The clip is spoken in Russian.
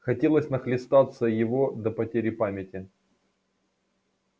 хотелось нахлестаться его до потери памяти